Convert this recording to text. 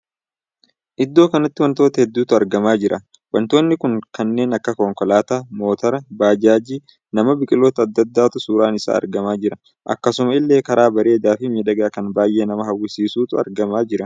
Iddoo kanatti wantoota hedduutu argamaa jira. wantoonni kun kanneen akka konkolaataa , motoora, bajaajii, namaa, biqiloota addaa addaatu suuraan isaa argamaa jira. akkasuma illee karaa bareedaa Fi miidhagaa kan baay'ee nama hawwisiisuutu argamaa jiran.